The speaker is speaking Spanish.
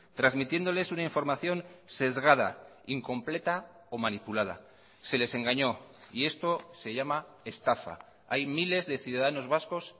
transmitiéndoles una información sesgada incompleta o manipulada se les engañó y esto se llama estafa hay miles de ciudadanos vascos